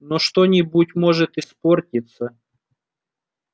но что-нибудь может испортиться